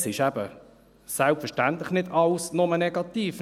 Es ist eben selbstverständlich nicht alles nur negativ: